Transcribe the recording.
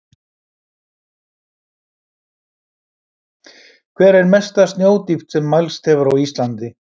Hver er mesta snjódýpt sem mælst hefur á Íslandi?